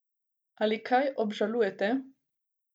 Ali kaj obžalujete?